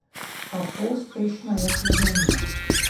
Kako uspešna je Slovenija?